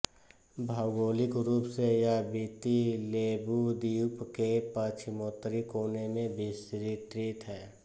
भौगोलिक रूप से यह विति लेवु द्वीप के पश्चिमोत्तरी कोने में विस्तृत है